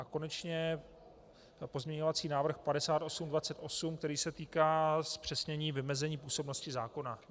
A konečně pozměňovací návrh 5828, který se týká zpřesnění vymezení působnosti zákona.